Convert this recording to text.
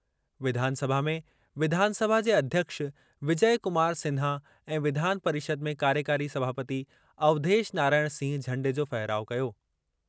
विधानसभा में विधानसभा जे अध्यक्ष विजय कुमार सिन्हा ऐं विधान परिषद में कार्यकारी सभापति अवधेश नारायण सिंह झंडे जो फहिराउ कयो।